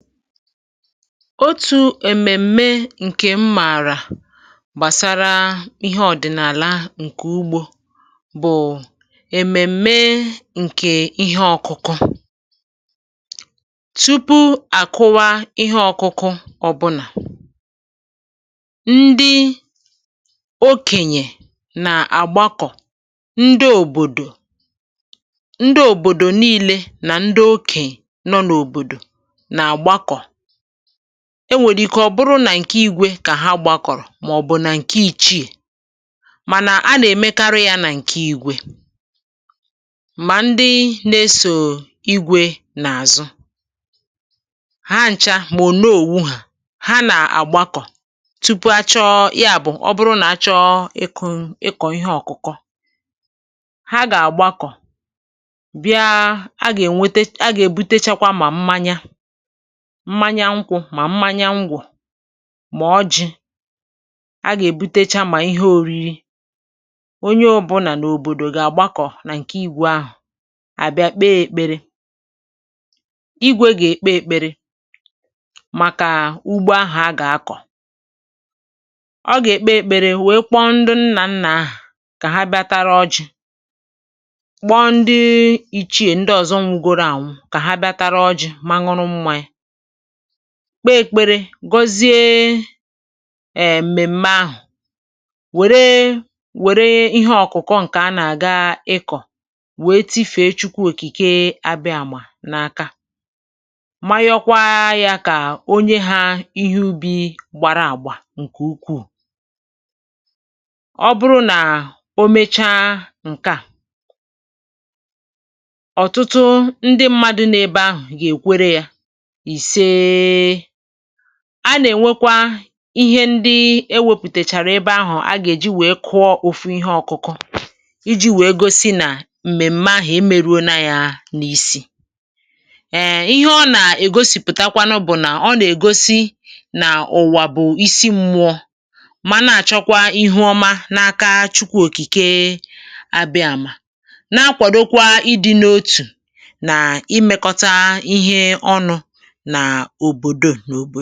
otu̇ èmèm̀me ǹkè m mààrà gbàsara ihe ọ̀dị̀nààla ǹkè ugbȯ bụ̀ èmèm̀me ǹkè ihe ọ̇kụ̇kụ̇, tupu àkụwa ihe ọ̇kụ̇kụ̇, ọbụnà ndị okènyè nà-àgbakọ, ndị òbòdò, ndị òbòdò niilė, nà ndị okènyè nọ n’òbòdò. e nwèrè ike ọ̀ bụrụ nà ǹkè igwė kà ha gbakọ̀rọ̀, mà ọ̀ bụ̀ nà ǹkè ìchie. um mànà a nà-èmekarụ yȧ nà ǹkè igwė, mà ndị nà-esò igwė n’àzụ ha ncha. mà òne òwu̇hà ha nà àgbakọ̀ tupu achọọ ya bụ̀ ọ bụrụ nà achọọ ịkụ̇, um ịkọ̀ ihe ọ̀kụkọ, ha gà-àgbakọ̀ bịa. a gà-èbute, a gà-èbutechakwa mà mmanye mmanya nkwụ̇, mà mmanya ngwụ̀, mà ọjị̇. a gà-èbutecha mà ihe òriri. onye ọ bụ nà nà òbòdò gà-àgbakọ̀ nà ǹkè igwù ahụ̀ àbịa kpee èkpere. igwė gà-èkpe èkpere màkà ugbo ahụ̀ a gà-akọ̀; ọ gà-èkpe èkpere, um wee kpọọ ndị nnà nnà ahụ̀ kà ha bịa tara ọjị̇. kpọọ ndị ìchìrì, ndị ọ̀zọ, nwugoro ànwụ, kà ha bịa tara ọjị̇, maṅụrụ mmanya, kpeè èkpere, gozie èmèm̀me ahụ̀. wère wère ihe ọ̀kụ̀kụ ǹkè a nà-àga ịkọ̀ wee tifèe Chukwu Òkìke, um abịa mà n’aka, manyokwa ya kà onye ha ihe ubi gbàrà àgbà ǹkè ukwuù. ọ bụrụ nà o mecha ǹkè a, ọ̀tụtụ ndị mmadụ̇ n’ebe ahụ̀ gà-èkwere ya. a nà-ènwekwa ihe ndị e wepùtèchàrà ebe ahụ̀, a gà-èji wee kụọ òfu ihe ọkụkụ iji wee gosi nà m̀mèm̀ma ahụ̀ e meruo na yȧ n’isi. èe, ihe ọ nà-ègosìpụ̀takwanụ bụ̀ nà ọ nà-ègosi nà ùwà bụ̀ isi mmụ̇ọ, mà na-àchọkwa ihe ọma n’aka Chukwu Òkìke, um a bịàmà nà-akwàdokwa ịdị̇ n’otù nà imekọ̀tà ihe ọnụ̇ ǹgwaà.